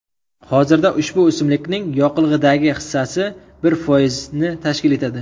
Hozirda ushbu o‘simlikning yoqilg‘idagi hissasi bir foizni tashkil etadi.